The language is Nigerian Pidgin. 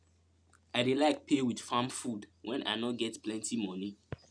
i dey like pay with farm food when i no get plenti money